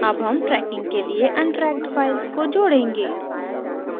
add हम tracking के लिए untracked files जोड़ेंगे